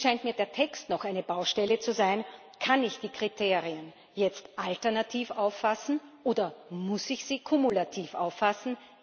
Hier scheint mir der Text noch eine Baustelle zu sein. Kann ich die Kriterien jetzt alternativ auffassen, oder muss ich sie kumulativ auffassen?